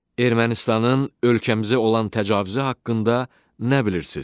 Ermənistanın ölkəmizə olan təcavüzü haqqında nə bilirsiz?